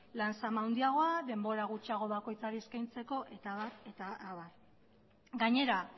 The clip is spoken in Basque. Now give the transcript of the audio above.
lan zama handiagoa denbora gutxiago bakoitzari eskaintzeko eta abar gainera